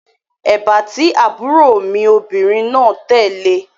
Èbá tí àbúrò mi obìnrin náà tẹ̀ le